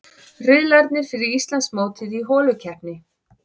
Riðlarnir fyrir Íslandsmótið í holukeppni